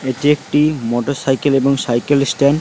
এটি একটি motorcycle এবং সাইকেল স্ট্যান্ড।